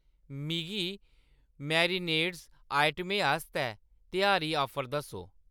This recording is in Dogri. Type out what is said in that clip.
मिगी मैरिनेडें आइटमें आस्तै त्यहारी ऑफर दस्सो